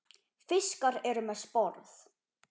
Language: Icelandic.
Fiskar eru með sporð.